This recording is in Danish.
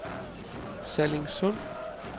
Sallingsund